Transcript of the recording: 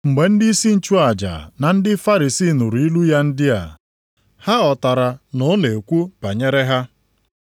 Mgbe ndịisi nchụaja na ndị Farisii nụrụ ilu ya ndị a, ha ghọtara na ọ na-ekwu banyere ha.